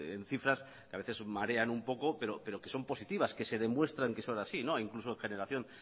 en cifras que a veces marean un poco pero que son positivas que se demuestran que son así incluso en generación